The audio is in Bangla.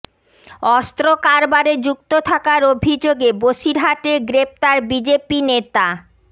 অস্ত্র কারবারে যুক্ত থাকার অভিযোগে বসিরহাটে গ্রেফতার বিজেপি নেতা